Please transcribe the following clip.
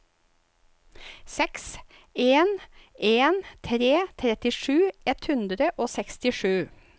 seks en en tre trettisju ett hundre og sekstisju